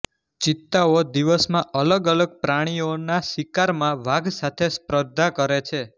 ચિત્તાઓ દિવસમાં અલગ અલગ પ્રાણીઓના શિકારમાં વાઘ સાથે સ્પર્ધા કરે છે